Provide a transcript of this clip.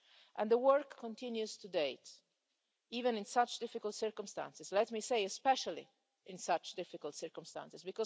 And the work continues today, even in such difficult circumstances, let me say especially in such difficult circumstances.